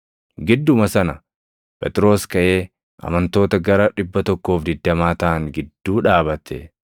Gidduma sana Phexros kaʼee amantoota gara 120 taʼan gidduu dhaabate.